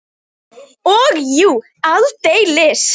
Og jú, aldeilis!